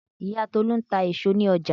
Ìyá Tolu ń ta èso ní ọjà.